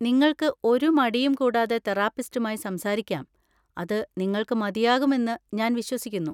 നിങ്ങൾക്ക് ഒരു മടിയും കൂടാതെ തെറാപ്പിസ്റ്റുമായി സംസാരിക്കാം, അത് നിങ്ങൾക്ക് മതിയാകും എന്ന് ഞാൻ വിശ്വസിക്കുന്നു.